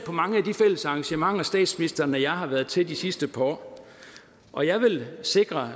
mange af de fælles arrangementer statsministeren og jeg har været til de sidste par år og jeg vil sikre